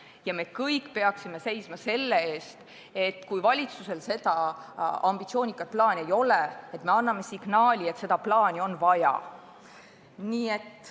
Ja me kõik peaksime seisma selle eest, et kui valitsusel sellekohast ambitsioonikat plaani ei ole, siis me anname signaali, et seda plaani on vaja.